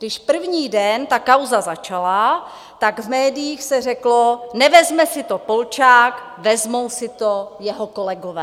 Když první den ta kauza začala, tak v médiích se řeklo: nevezme si to Polčák, vezmou si to jeho kolegové.